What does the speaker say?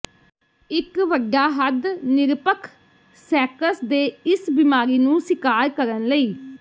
ਇੱਕ ਵੱਡਾ ਹੱਦ ਨਿਰਪੱਖ ਸੈਕਸ ਦੇ ਇਸ ਬੀਮਾਰੀ ਨੂੰ ਸੀਕਾਰ ਕਰਨ ਲਈ